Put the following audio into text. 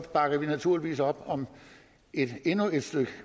bakker vi naturligvis op om endnu et stykke